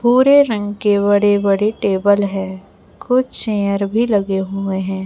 भूरे रंग के बड़े बड़े टेबल है कुछ चेयर भी लगे हुए हैं।